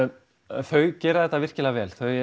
þau gera þetta virkilega vel þau